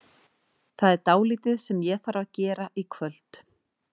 það er dálítið sem ég þarf að gera í kvöld.